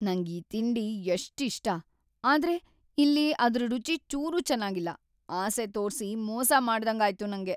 ನಂಗ್‌ ಈ ತಿಂಡಿ ಎಷ್ಟ್‌ ಇಷ್ಟ.. ಆದ್ರೆ ಇಲ್ಲಿ ಅದ್ರ್‌ ರುಚಿ ಚೂರೂ ಚೆನಾಗಿಲ್ಲ, ಆಸೆ ತೋರ್ಸಿ ಮೋಸ ಮಾಡ್ದಂಗಾಯ್ತು ನಂಗೆ.